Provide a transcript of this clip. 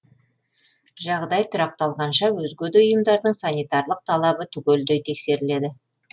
жағдай тұрақталғанша өзге де ұйымдардың санитарлық талабы түгелдей тексеріледі